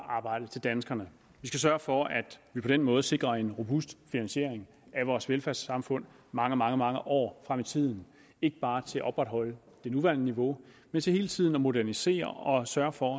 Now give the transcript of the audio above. arbejde til danskerne vi skal sørge for at vi på den måde sikrer en robust finansiering af vores velfærdssamfund mange mange mange år frem i tiden ikke bare til at opretholde det nuværende niveau men til hele tiden at modernisere og sørge for